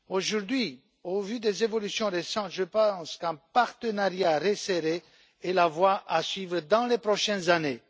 Aujourd'hui, au vu des évolutions récentes, je pense qu'un partenariat resserré est la voie à suivre dans les prochaines années.